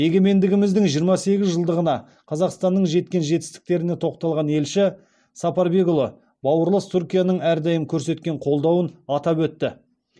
егемендігіміздің жиырма сегіз жылдығында қазақстанның жеткен жетістіктеріне тоқталған елші сапарбекұлы бауырлас түркияның әрдайым көрсеткен қолдауын атап өтті